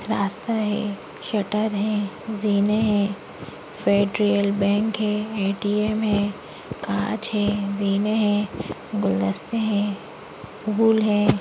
रास्ता है शट्टर है जीने है फ़ेडरल बैंक हे ए_टी_एम है कांच है ज़ीने है गुलदस्ते है फूल है।